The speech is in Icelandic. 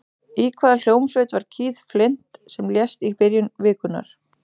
Í hvaða hljómsveit var Keith Flint sem lést í byrjun vikunnar?